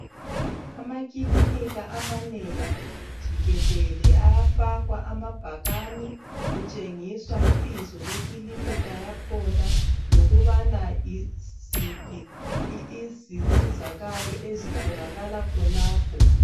Amakilinika amanengi jikelele ayafakwa amabhakani kutshengiswa ibizo lekilinika yakhona lokubana yiziphi izinsizakalo ezitholakala khonapho .